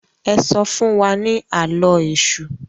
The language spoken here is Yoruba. e so fún wá ní Àló̩ Èṣù